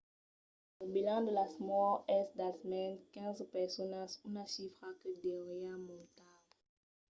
lo bilanç de las mòrts es d'almens 15 personas una chifra que deuriá montar